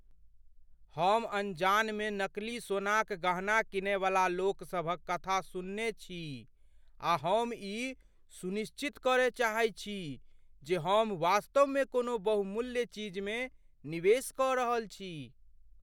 हम अनजान मे नकली सोनाक गहना कीनयवला लोकसभक कथा सुनने छी, आ हम ई सुनिश्चित करय चाहैत छी जे हम वास्तवमे कोनो बहुमूल्य चीजमे निवेश कऽ रहल छी।